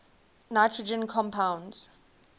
nitrogen compounds